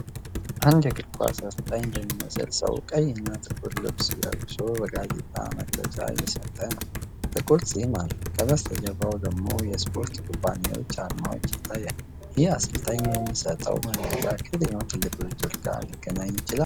አንድ እግር ኳስ አሠልጣኝ የሚመስል ሰው ቀይ እና ጥቁር ልብስ ለብሶ ጋዜጣዊ መግለጫ እየሰጠ ነው። ጥቁር ጺም አለው፤ ከበስተጀርባው ላይ ደግሞ የስፖርት ኩባንያዎች አርማዎች ይታያሉ። ይህ አሠልጣኝ የሚሰጠው መግለጫ ከየትኛው ትልቅ ውድድር ጋር ሊገናኝ ይችላል?